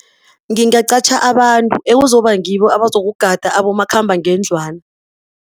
Ngingaqatjha abantu ekuzoba ngibo abazokugada abomakhambangendlwana.